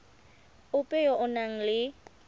ope yo o nang le